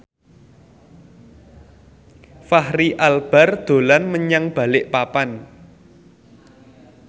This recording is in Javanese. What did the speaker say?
Fachri Albar dolan menyang Balikpapan